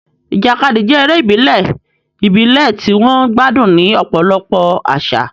Ìjàkadì jẹ́ eré ìbílẹ̀ ìbílẹ̀ tí wọ́n gbádùn ní ọ̀pọ̀lọpọ̀ àṣà.